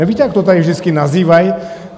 Nevíte, jak to tady vždycky nazývají?